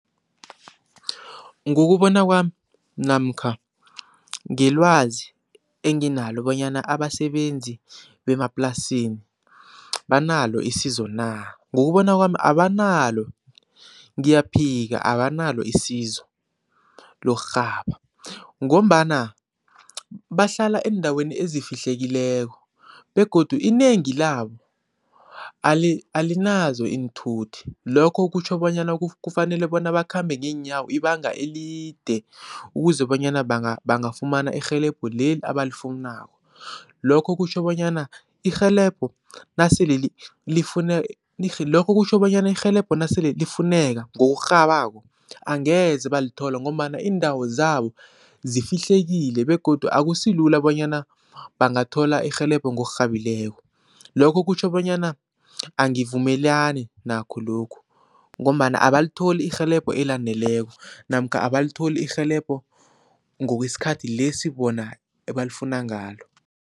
Ngokubona kwami namkha ngelwazi enginalo bonyana, abasebenzi bemaplasini banalo isizo na? Ngokubona kwami abanalo, ngiyaphika abanalo isizo lokurhaba ngombana bahlala eendaweni ezifihlekileko begodu inengi labo alinazo iinthuthi. Lokho kutjho bonyana kufanele bona bakhambe ngeenyawo ibanga elide ukuze bonyana bangafumana irhelebho leli abalifunako, lokho kutjho bonyana irhelebho nasele lokho kutjho bonyana irhelebho nasele lifuneka ngokurhabako angeze balithola ngombana iindawo zabo zifihlekile begodu akusilula bonyana bangathola irhelebho ngokurhabileko, lokho kutjho bonyana angivumelani nakho lokhu ngombana abalitholi irhelebho elaneleko namkha abalitholi irhelebho ngokwesikhathi lesi bona ebalifuna ngalo.